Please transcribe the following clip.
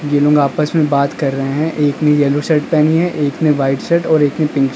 ये लोग आपस में बात कर रहे हैं एक ने येलो शर्ट पहनी है एक ने वाइट शर्ट और एक ने पिंक --